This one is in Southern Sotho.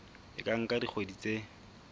e ka nka dikgwedi tse